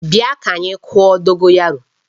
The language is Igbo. Bia ka anyi kụọ Dogoyaro!